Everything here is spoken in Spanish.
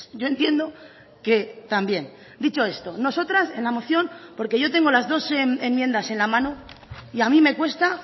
yo entiendo que también dicho esto nosotras en la moción porque yo tengo las dos enmiendas en la mano y a mí me cuesta